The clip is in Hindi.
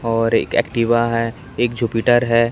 और एक एक्टिवा है एक जुपिटर है।